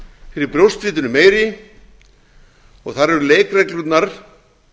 fyrir brjóstvitinu meiri og þar eru leikreglurnar